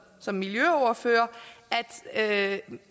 som miljøordfører at man